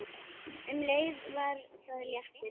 Um leið var það léttir.